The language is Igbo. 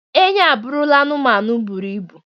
Enyí abụrụla anụmanụ bụrụ ibụ.